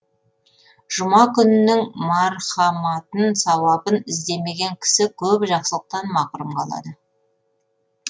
жұма күнінің мархаматын сауабын іздемеген кісі көп жақсылықтан мақрұм қалады